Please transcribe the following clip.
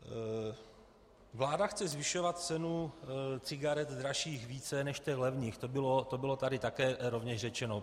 Vláda chce zvyšovat cenu cigaret dražších více než těch levných, to bylo tady také rovněž řečeno.